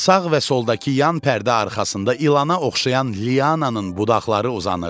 Sağ və soldakı yan pərdə arxasında ilana oxşayan liananın budaqları uzanırdı.